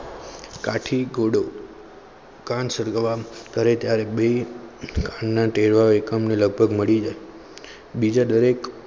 કાઠીગુડો કામ સર્ગ્રામકરે ત્યારે બે અને તેવા એકમ ને લગભગ મળી જાય